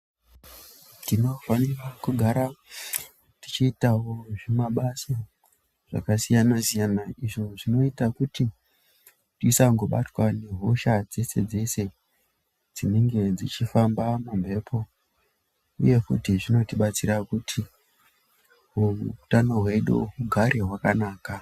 Tinofanirawo kugara tichiitawo mabasa zvakasiyana siyana zvinoita kuti zvisangobatwa nehosha dzese dzese dzinenge dzichifamba kumhepo uye futi zvinotibatsira kuti hutano hwedu hunge hwakanaka.